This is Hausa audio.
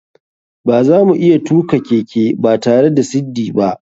Bazamu iya tuka keke batare da siddi ba.